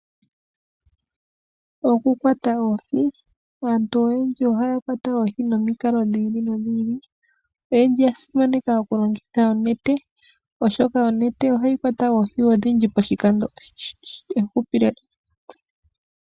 Okukwata oohi aantu oyendji ohaya kwata oohi nomikalo dhi ili nodhi ili oyndji oya simaneka okulongitha onete oshoka onete oha yi kwata oohi odhindji poshikando oshindji .